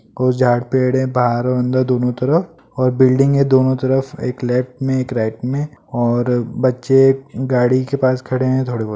कुछ झाड़ पेड़े बाहार औ अंदर दोनों तरफ और बिल्डिंग है दोनों तरफ एक लेफ्ट में एक राइट में और बच्चे गाड़ी के पास खड़े हैं थोड़े बहत--